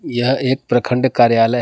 यह एक प्रखंड कार्यालय है।